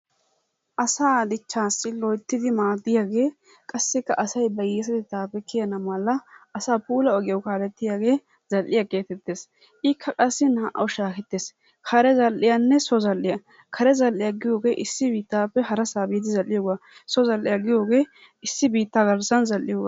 Asaa dichchaassi loyttidi maaddiyagee qassikka asay ba hiyyeesatettaappe kiyana mala asaa puula ogiyawu kaalettiyagee zal"iya geetettees. Ikka qassi naa"awu shaahettees kare zal''iyanne so zal"iya. Kare zal"iya giyogee issi biittaappe harasa biidi zal"iyogaa. So zal"iya giyogee issi biittaa garssan zal"iyogaa.